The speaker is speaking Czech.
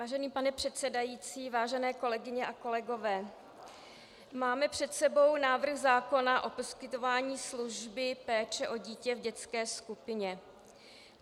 Vážený pane předsedající, vážené kolegyně a kolegové, máme před sebou návrh zákona o poskytování služby péče o dítě v dětské skupině.